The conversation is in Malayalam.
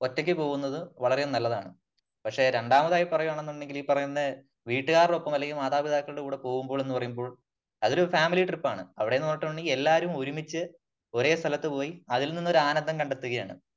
ഒറ്റയ്ക്ക് പോകുന്നത് വളരെ നല്ലതാണ്.പക്ഷേ രണ്ടാമതായി പറയുകയാണെന്നുണ്ടെങ്കിൽ ഈ പറയുന്ന വീടുകാരോടൊപ്പം അല്ലെങ്കിൽ മാതാപിതാക്കളുടെ കൂടെ പോകുമ്പോഴും എന്ന് പറയുമ്പോൾ അതൊരു ഫാമിലി ട്രിപ്പ് ആണ്. അവിടെ എന്ന് പറഞ്ഞിട്ടുണ്ടെങ്കിൽ എല്ലാവരും ഒരുമിച്ച് ഒരേ സ്ഥലത്ത് പോയി അതിൽ നിന്നും ഒരു ആനന്ദം കണ്ടെത്തുകയാണ് .